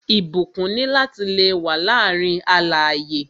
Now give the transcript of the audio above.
Ìbúkún ni lati le wà láàárín alààyè